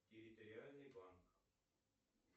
территориальный банк